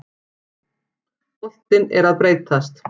Boltinn er að breytast.